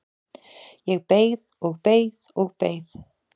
Ég beið og beið og beið!